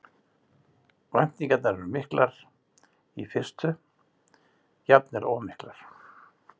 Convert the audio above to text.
Væntingarnar eru miklar í fyrstu, jafnvel of miklar.